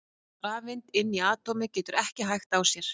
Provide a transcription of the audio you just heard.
rafeind inni í atómi getur ekki hægt á sér!